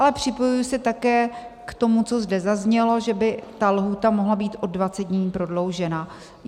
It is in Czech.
Ale připojuji se také k tomu, co zde zaznělo, že by ta lhůta mohla být o 20 dní prodloužena.